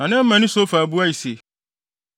Na Naamani Sofar buae se,